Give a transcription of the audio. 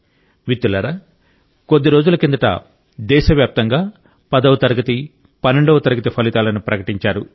మిత్రులారా కొద్ది రోజుల కిందట దేశవ్యాప్తంగా 10వ తరగతి 12వ తరగతి ఫలితాలను ప్రకటించారు